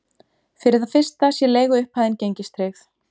Fyrir það fyrsta sé leiguupphæðin gengistryggð